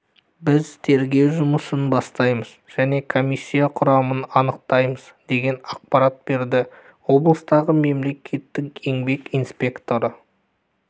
біз тергеу жұмысын бастаймыз және комиссия құрамын анықтаймыз деген ақпарат берді облыстағы мемлекеттік еңбек инспекторы